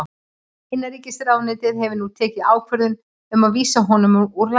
Innanríkisráðuneytið hefur nú tekið ákvörðun um að vísa honum úr landi.